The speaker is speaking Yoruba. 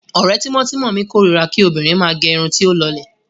Ọ̀rẹ́ tímọ́tímọ́ mi kórira kí obìnrin máa gẹ irun tí ó lọlẹ̀.